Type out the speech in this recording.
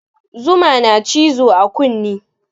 Zuma na cizo a kune